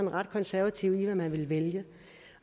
er ret konservative med man vil vælge